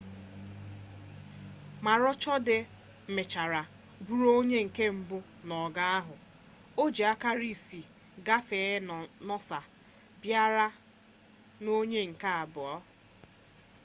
maroochydore mechara bụrụ onye nke mbụ n'ogo ahụ o ji akara isii gafee noosa bịara n'onye nke abụọ